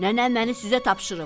Nənəm məni sizə tapşırıb.